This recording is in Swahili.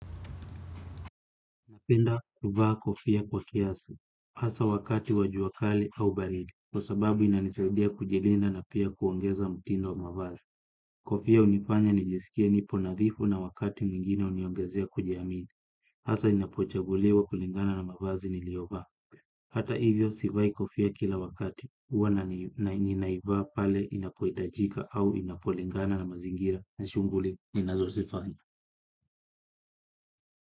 Napenda kuvaa kofia kwa kiasi, hasa wakati wajuakali au baridi, kwa sababu inanisaidia kujilinda na pia kuongeza mtindo wa mavazi. Kofia hunifanya nijisikie nipo nadhifu na wakati mwingine huniongezea kujiamini, hasa inapochaguliwa kulingana na mavazi niliyovaa. Hata hivyo, sivai kofia kila wakati, huwa na ninaiva pale inapohitajika au inapolingana na mazingira, na shughuli, ninazozifanya.